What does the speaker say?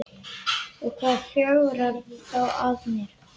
Og hvað flögrar þá að mér?